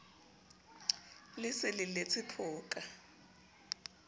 le se le letse phoka